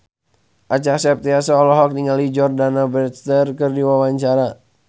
Acha Septriasa olohok ningali Jordana Brewster keur diwawancara